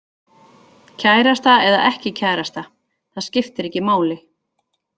Kærasta eða ekki kærasta, það skiptir ekki máli.